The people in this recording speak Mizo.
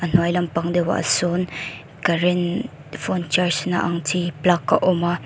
hnuai lampang deuhah sawn current phone charge na ang deuh chi plug a awm a.